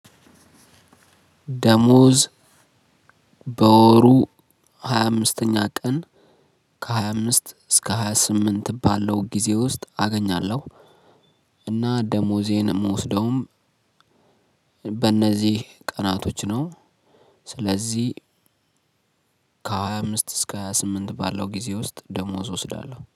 ደሞዝ በወሩ ሃያ አምስተኛ ቀን ከሃያምስት እስከ ሃያ ስምንት ባለው ጊዜ ውስጥ አገኛለሁ። እና ደሞዜን እምወስደውም በነዚህ ቀናቶች ነው። ስለዚህ ከሃያ አምስት እሰከ ሃያ ስምንት ባለው ጊዜ ውስጥ ደሞዝ እወስዳለሁ